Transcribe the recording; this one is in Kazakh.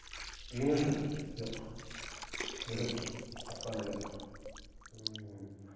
үйіңіз жоқ жоқ бөлек баспана жоқ мхм